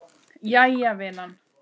Jæja vinan.